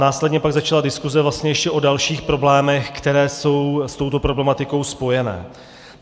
Následně pak začala diskuze vlastně ještě o dalších problémech, které jsou s touto problematikou spojené.